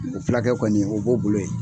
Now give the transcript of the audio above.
O fulakɛ kɔni o b'o bolo yen.